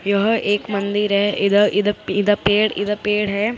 यह एक मंदिर है इधर इध प इधर पेड़ इधर पेड़ है।